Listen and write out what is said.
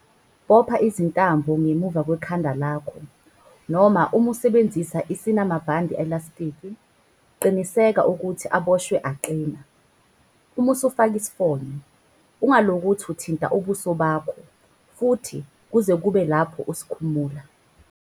Bopha izintambo ngemuva kwekhanda lakho, noma uma usebenzisa esinamabhande elastiki, qiniseka ukuthi aboshwe aqina. 5. Uma usufake isifonyo, UNGA LOKOTHI UTHINTE UBUSO BAKHO futhi kuze kube lapho usikhumula. 7.